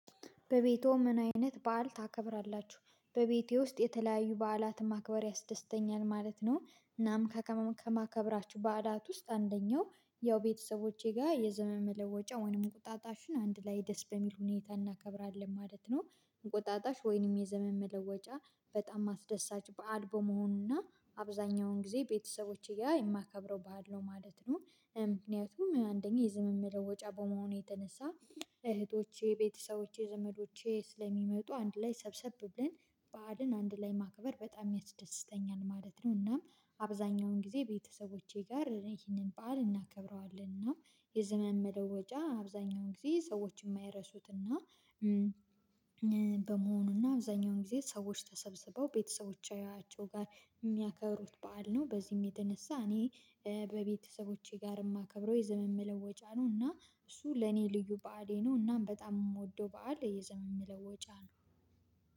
በቤቶ ምን አይነት በዓል ታከብራላችሁ? በቤቴ ውስጥ የተለያዩ በዓላትን ማክበር ያስደስተኛል ማለት ነው። እናም ከከማ ከማከብራችሁ በአዳት ውስጥ አንደኛው ያው ቤተሰቦቼ ጋር የዘመን መለወጫ ወይንም እንቁጣጣሽን አንድ ላይ ደስ በሚል ሁኔታ እናከብራለን ማለት ነው። እንቁጣጣሽ ወይንም የዘመን መለወጫ በጣም አስደሳች በዓል በመሆኑና አብዛኛውን ጊዜ ቤተሰቦቼ ጋር የማከብረው በዓል ነው ማለት ነው። ምክንያቱም አንደኛ የዘመን መለወጫ በመሆኑ የተነሳ እህቶቼ ቤተሰቦቼ ዘመዶቼ ስለሚመጡ አንድ ላይ ሰብሰብ ብለን በዓልን አንድ ላይ ማክበር በጣም ያስደስተኛል ማለት ነው። እናም አብዛኛውን ጊዜ ቤተሰቦቼ ጋር ይሄንን በዓል እናከብረዋለን እናም የዘመን መለወጃ አብዛኛውን ጊዜ ሰዎች የማይረሱትና በመሆኑና አብዛኛውን ጊዜ ሰዎች ተሰብስበው ቤተሰቦቻቸው ጋር የሚያከብሩት በዓል ነው። በዚህም የተነሳ እኔ በቤተሰቦቼ ጋር የማከብረው የዘመን መለወጫ ነው እና እሱ ለኔ ልዩ በዓሌ ነው። እናም በጣም የምወደው በዓል የዘመን መለወጫ ነው።